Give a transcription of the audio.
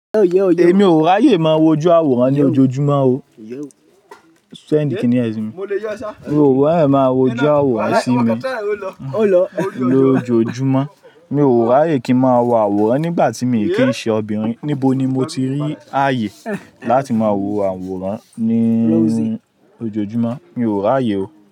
Èmi ò rò ráyé máa wọ ojú àwòrán ní ojoojúmọ́ o. Mi ò rò ráyé máa wọ ojú àwòrán sí mi lo ojoojúmọ́. Mi ò rò ráyé kí ń máa wọ àwòrán nígbà tí mi kì í ṣe obìnrin. Níbo ni mo ti rí àyè láti máa wọ àwòrán ní ojoojúmọ́? Mi ò ra ráyé o.